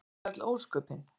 Það voru öll ósköpin.